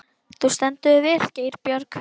Þú stendur þig vel, Geirbjörg!